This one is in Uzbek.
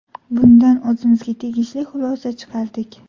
Bundan o‘zimizga tegishli xulosa chiqardik.